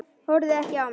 Horfði ekki á mig.